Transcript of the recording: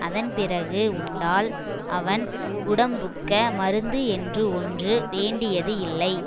அதன் பிறகு உண்டால் அவன் உடம்புக்க மருந்து என்று ஒன்று வேண்டியது இல்லை